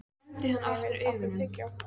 Hnefill, áttu tyggjó?